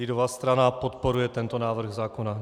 Lidová strana podporuje tento návrh zákona.